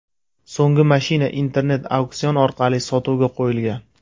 So‘nggi mashina internet-auksion orqali sotuvga qo‘yilgan.